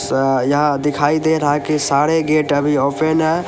अ यहां दिखाई दे रहा है कि सारे गेट अभी ओपन है।